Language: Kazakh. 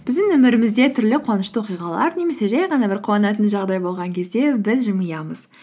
біздің өмірімізде түрлі қуанышты оқиғалар немесе жай ғана бір қуанатын жағдай болған кезде біз жымиямыз